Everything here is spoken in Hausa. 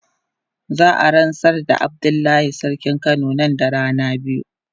Za a ransar da Abdullahi sarkin kano nan da rana biyu.